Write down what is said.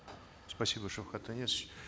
спасибо шавкат анесович